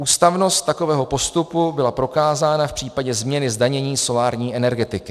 Ústavnost takového postupu byla prokázána v případě změny zdanění solární energetiky.